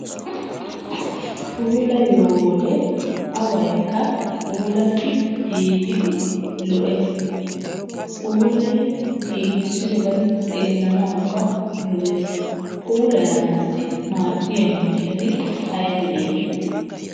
Puulayiyo wode awaykka giigidi lo'es. Puulayidi giigissidobayi xeellanawukka lo'es. Puulayanaassi maaddiya miishshati aybee aybee?